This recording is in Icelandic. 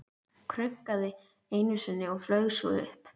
Krunkaði einu sinni og flaug svo upp.